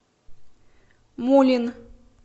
мулин